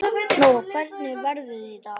Nóa, hvernig er veðrið í dag?